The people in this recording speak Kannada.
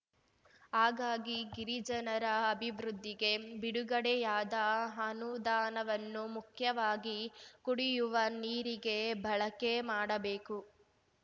ಹಾಗಾಗಿ ಗಿರಿಜನರ ಅಭಿವೃದ್ಧಿಗೆ ಬಿಡುಗಡೆಯಾದ ಅನುದಾನವನ್ನು ಮುಖ್ಯವಾಗಿ ಕುಡಿಯುವ ನೀರಿಗೆ ಬಳಕೆ ಮಾಡಬೇಕು